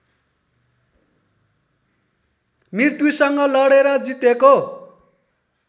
मृत्युसँग लडेर जितेको